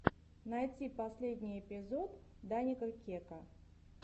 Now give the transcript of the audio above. найти последний эпизод даника кека